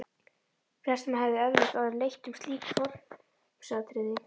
Flestum hefði eflaust orðið létt um slík formsatriði.